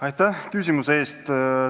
Aitäh küsimuse eest!